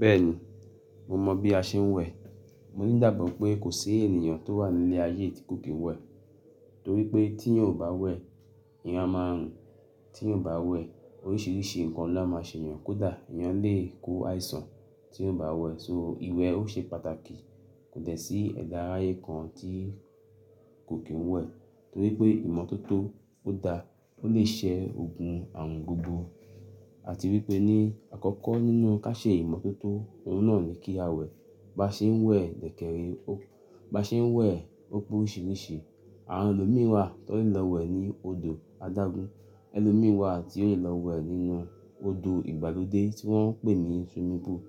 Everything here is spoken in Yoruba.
Bẹ́ẹ̀ni, mo mọ̀ bí a ṣe ń wẹ̀. Mo ní igbagbo pé kò sí ènìyàn tó wà ní ilé ayé yi tí kò kí ń wẹ̀. Torí pé tí èèyàn ò bá wẹ̀, èèyàn a máa run. Tí eeyan ò bá wẹ̀ oríṣiríṣi ǹkan lá máa ṣe èèyàn. Kódà èèyàn lè kó àìsàn tí ò bá wẹ̀. So ìwẹ̀ ó ṣe pàtàkì. Kò dẹ̀ sí ẹ̀dá aráyé kan tí kò kí ń wẹ̀. Torípé ìmọ́tótó ó da, ó lè ṣẹ́ ogun àrùn gbogbo. A ti rí pé ní àkọ́kọ́ nínú ká ṣe ìmọ́tótó, oun náà ni kí a wẹ̀. Ba ṣe ń wẹ̀ dẹ̀kẹ̀rẹ́, ba ṣe ń wẹ̀ ó pe oríṣiríṣi. Àwọn ẹlòmíràn wà tó lè lọ wẹ̀ ní odò adágún. Ẹlòmíràn wà tí ó lè lọ wẹ̀ nínú odò ìgbàlódé tí wọ́n ń pè ní swimming pool.